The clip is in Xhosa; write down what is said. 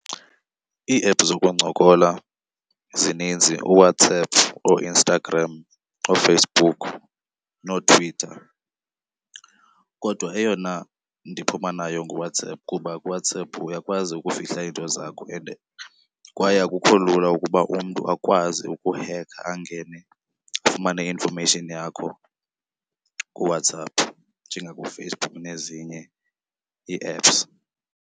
Iiephu zokuncokola zininzi uWhatsApp, ooInstagram ooFacebook nooTwitter. Kodwa eyona ndiphuma nayo nguWhatsApp kuba kuWhatsApp uyakwazi ukufihla into zakho and kwaye akukho lula ukuba umntu akwazi ukuhekha angene afumane i-information yakho kuWhatsApp njengakuFacebook nezinye ii-apps.